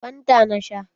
Fanta na sha.